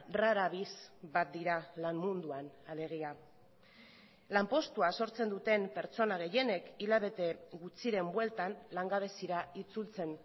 rara avis bat dira lan munduan alegia lanpostua sortzen duten pertsona gehienek hilabete gutxiren bueltan langabezira itzultzen